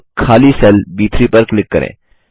अब खाली सेल ब3 पर क्लिक करें